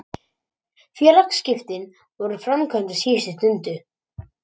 Félagsskiptin voru framkvæmd á síðustu stundu.